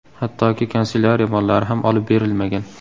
Hattoki kanselyariya mollari ham olib berilmagan.